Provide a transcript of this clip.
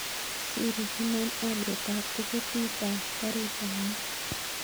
Siri konon aliet ap tiiketit ap karit ap maat